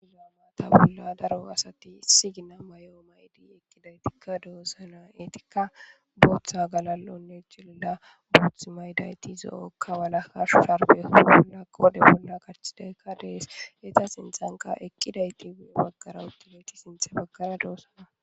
damaata bolla daro asati isi gina may7o maydi eqqidaytikka doossana etikka booththa galal7onne jilila booth maydayti zo7okka wala harshu sharbe hoolla koode bolla kachidaykka dees eta sinthanka eqqiday tie baggara utidayti sinthe baggara doossana